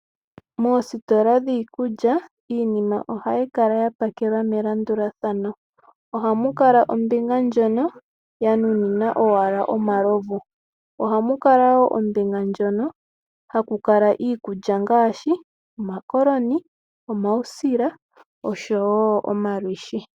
Moositola dhiikulya iinima ohayi kala ya pakelwa melandulathano. Ohamu kala ombinga ndjono ya nuninwa owala omalovu. Ohamu kala wo ombinga ndjono haku kala iikulya ngaashi omakoloni, omausila oshowo omalwiishi.